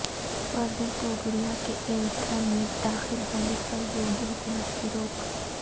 پروین توگڑیا کے ایودھیا میں داخل ہونے پر یوگی حکومت کی روک